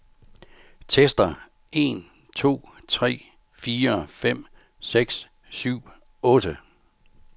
Tester en to tre fire fem seks syv otte.